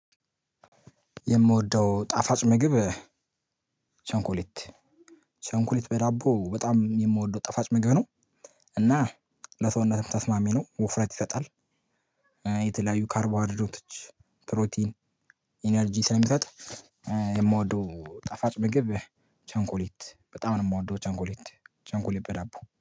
የምወደው ጣፋጭ ምግብ ቸኮሌት ቸኮሌት በዳቦ በጣም የምወደው ጠፋጭ ምግብ ነው እና ለሰውነትም ተስማሚ ነው ወፍረት ይሰጣል። የተለያዩ ካርቦሃይድሬት ፕሮቲን ኢነርጂ ስለሚሰጥ። የምወደው ጣፋጭ ምግብ ቸኮሌት በጣም ነው የምወደው ቸኮሌት ቸኮሌት በዳቦ